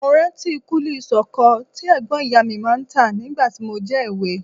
Mo rántí kúlí sọ̀kọ̀ tí ẹ̀gbọ́n ìyá mi máa ń tà nígbà tí mo jẹ́ èwe